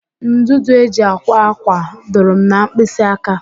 Ndụdụ e ji akwa ákwà dụrụ m na mkpịsị aka